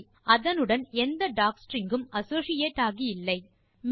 சோரி அதனுடன் எந்த டாக்ஸ்ட்ரிங் உம் அசோசியேட் ஆகி இல்லை